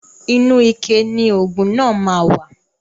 Inu ike ni oògùn náà má wà